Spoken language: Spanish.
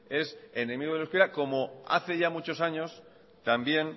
es enemigo del euskera como hace ya muchos años también